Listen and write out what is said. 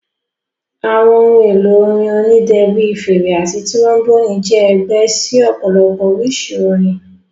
Àwọn ohun èlò orin onídẹ bíi fèrè àti tíróḿbònì jẹ́ ẹgbẹ́ sí ọ̀pọ̀lọpọ̀ oríṣi orin